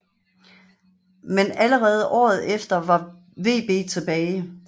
Men allerede året efter var VB tilbage